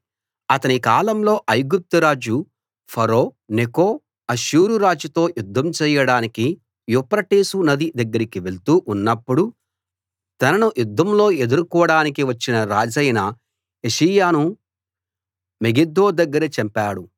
అతని కాలంలో ఐగుప్తురాజు ఫరో నెకో అష్షూరురాజుతో యుద్ధం చెయ్యడానికి యూఫ్రటీసు నది దగ్గరికి వెళ్తూ ఉన్నప్పుడు తనను యుద్ధంలో ఎదుర్కోడానికి వచ్చిన రాజైన యోషీయాను మెగిద్దో దగ్గర చంపాడు